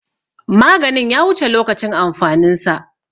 Maganin ya wuce lokacin amfanin sa.